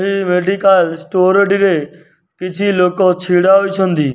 ଏହି medical store ଟିରେ କିଛି ଲୋକ ଛିଡ଼ା ହୋଇଛନ୍ତି।